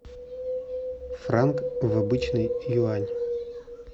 франк в обычный юань